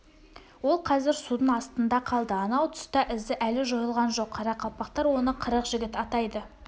ол қазір судың астында қалды анау тұста ізі әлі жойылған жоқ қарақалпақтар оны қырық жігіт атайды